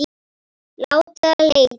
Láta leita.